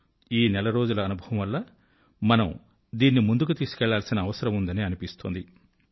ఈ నెల రోజుల అనుభవం వల్ల మనం దీన్ని ముందుకు తీసుకువెళ్ళాల్సిన అవసరం ఉందని అనిపిస్తోంది